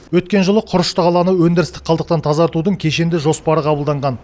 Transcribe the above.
өткен жылы құрышты қаланы өндірістік қалдықтан тазартудың кешенді жоспары қабылданған